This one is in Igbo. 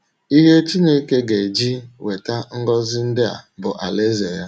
Ihe Chineke ga - eji weta ngọzi ndị a bụ Alaeze ya.